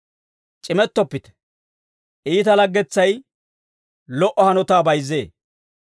C'imettoppite; iita laggetetsay lo"o hanotaa bayizzee.